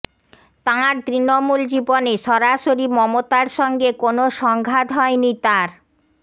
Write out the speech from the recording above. তাঁর তৃণমূল জীবনে সরাসরি মমতার সঙ্গে কোনও সংঘাত হয়নি তাঁর